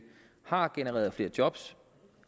har genereret flere job